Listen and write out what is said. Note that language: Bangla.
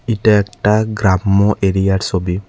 এইটা একটা গ্রাম্য এরিয়ার সবি ।